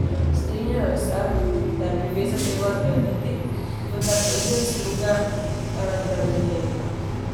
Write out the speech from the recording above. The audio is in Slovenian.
Strinjajo se, da je priveze treba zgraditi, vendar pa izven struge razbremenilnika.